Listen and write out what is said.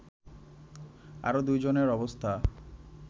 আরো ২ জনের অবস্থা